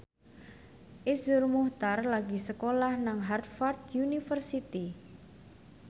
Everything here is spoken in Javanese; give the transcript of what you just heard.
Iszur Muchtar lagi sekolah nang Harvard university